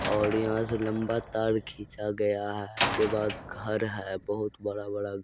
और यहाँ से लम्बा तार खींचा गया है उसके बाद घर है बहुत बड़ा बड़ा--